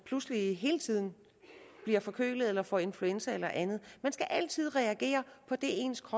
pludselig hele tiden bliver forkølet og får influenza eller andet man skal altid reagere på det ens